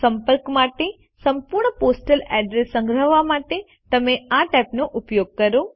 સંપર્ક માટે સંપૂર્ણ પોસ્ટલ અડ્રેસ સંગ્રહવા માટે આ ટેબનો ઉપયોગ કરો